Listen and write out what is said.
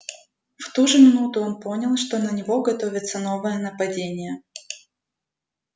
в ту же минуту он понял что на него готовится новое нападение